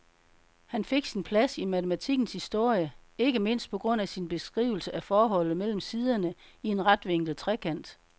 Han fik sin plads i matematikkens historie, ikke mindst på grund af sin beskrivelse af forholdet mellem siderne i en retvinklet trekant.